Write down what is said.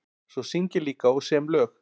Svo syng ég líka og sem lög.